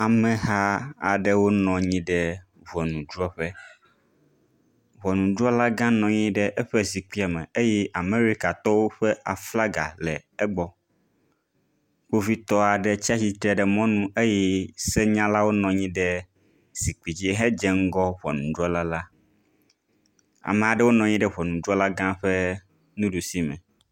Ameha aɖewo nɔ anyi ɖe ŋɔnudrɔ̃ƒe. Ŋɔnudrɔ̃lagã la nɔ anyi ɖe eƒe zikpuia me eye Amerikatɔwo ƒe aflaga le egbɔ. Kpovitɔ aɖe tsi atsitre ɖe mɔnu eye senyalawo nɔ anyi ɖe zikpui dzi hedze ŋgɔ ŋɔnudrɔ̃la la. Ame aɖewo nɔ anyi hedze ŋgɔ ŋɔnudrɔ̃lala, ame aɖewo nɔ anyi ɖe ŋɔnudrɔ̃la gã la ƒe nuɖusi me.